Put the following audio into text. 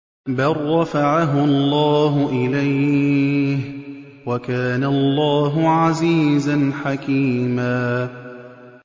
بَل رَّفَعَهُ اللَّهُ إِلَيْهِ ۚ وَكَانَ اللَّهُ عَزِيزًا حَكِيمًا